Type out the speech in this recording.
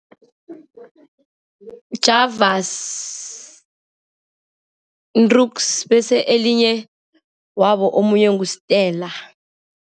Javas, bese elinye wabo omunye ngu-Stella.